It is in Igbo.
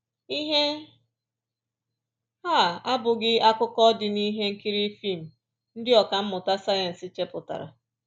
Ihe a abụghị akụkọ dị n’ihe nkiri fim ndị ọkà mmụta sayensị chepụtara